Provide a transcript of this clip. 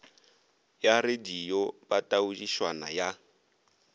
ya radio ba taodišwana ya